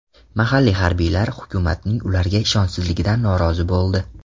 Mahalliy harbiylar hukumatning ularga ishonchsizligidan norozi bo‘ldi.